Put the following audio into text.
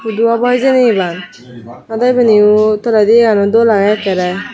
hudu obo hijeni eban ado ebiniyo toledi eyano dol agey ekkerey.